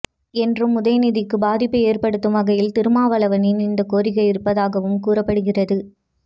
என்றும் உதயநிதிக்கு பாதிப்பு ஏற்படுத்தும் வகையில் திருமாவளவனின் இந்த கோரிக்கை இருப்பதாகவும் கூறப்படுகிறது